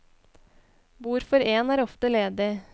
Bord for én er ofte ledig.